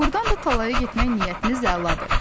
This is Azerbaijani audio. Doğrudan da talaya getmək niyyətiniz əladır.